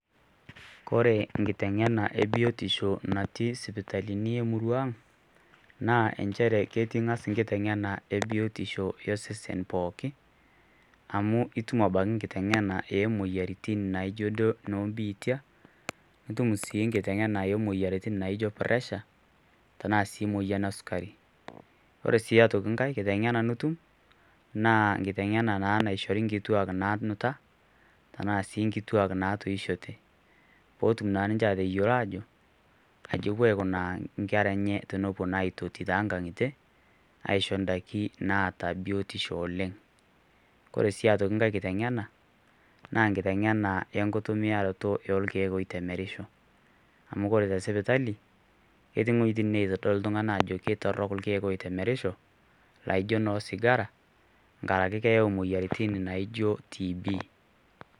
Koree nkitengena ebiotisho natii sipitalini emuruang naa inchere ketii angas nkitengena ebiotisho esesen pooki, amu itum abaki nkitengena emoyiarritin naijo duo biitia, nitum sii nkitengena emoyiaritin naijo puresha, tanaa sii moyian esukari, ore sii aitoki mkae kitengena nitum naa nkitengan naa naishori nkituak nanuta tanaa sii nkituak natiishete peetum naa ninche atoyolo aajo kaji epo aikunaa inkerra enye tenepo naa aitoti too nkang'itie aisho indaki naata biotisho oleng, koree sii aitoki inkae kitengena naa nkitengena enkitumiaroto orkiek oitemerisho, amu kore te sipitali ketii wejitin naitodol ltungana ajo ketorok lkiek oitemerisho naijo noosigara ngaraki na keyu moyiaritin naijo TB[cs[.